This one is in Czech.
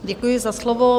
Děkuji za slovo.